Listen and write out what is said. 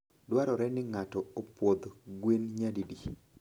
Dwarore ni ng'ato opwodh gwen nyadidi?